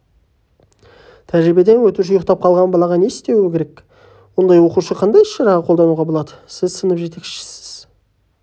тәжірибеден өтуші ұйықтап қалған балаға не істеуі керек ондай оқушыға қандай іс-шара қолдануға болады сіз сынып жетекшісісіз